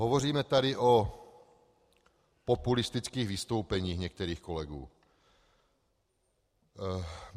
Hovoříme tady o populistických vystoupeních některých kolegů.